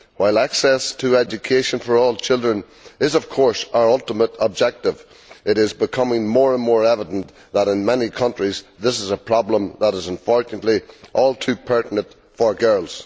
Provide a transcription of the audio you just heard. While access to education for all children is, of course, our ultimate objective, it is becoming more and more evident that in many countries this is a problem that is unfortunately all too pertinent for girls.